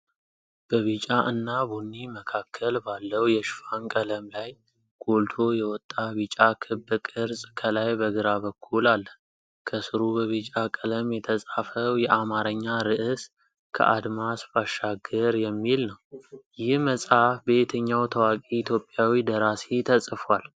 በቢጫ እና ቡኒ መካከል ባለው የሽፋን ቀለም ላይ፣ ጎልቶ የወጣ ቢጫ ክብ ቅርጽ ከላይ በግራ በኩል አለ። ከስሩ በቢጫ ቀለም የተጻፈው የአማርኛ ርዕስ "ከአድማስ ባሻገር" የሚል ነው፤ ይህ መጽሐፍ በየትኛው ታዋቂ ኢትዮጵያዊ ደራሲ ተጽፎአል?